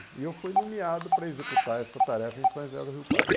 E eu fui nomeado para executar essa tarefa em São José do Rio Pardo.